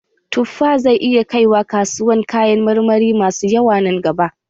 Tuffa zai iya kai wa kasuwar kayan marmari masu yawa nan gaba